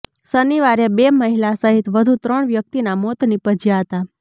શનિવારે બે મહિલા સહિત વધુ ત્રણ વ્યકિતના મોત નીપજ્યા હતા